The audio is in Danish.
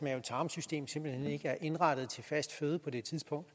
tarmsystem simpelt hen ikke er indrettet til fast føde på det tidspunkt